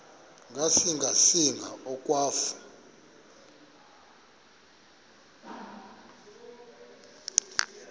ngasinga singa akwafu